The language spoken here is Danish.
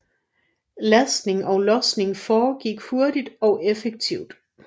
Lastning og losning foregik hurtigt og effektivt